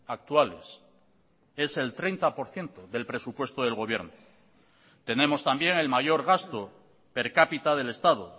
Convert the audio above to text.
actuales es el treinta por ciento del presupuesto del gobierno tenemos también el mayor gasto per capita del estado